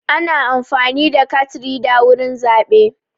Ana amfani da kat rida wurin zaɓe.